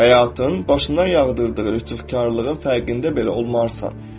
Həyatın başından yağdırdığı rüsvaykarlığın fərqində belə olmarsan.